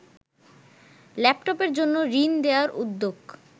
ল্যাপটপের জন্য ঋণ দেয়ার উদ্যোগ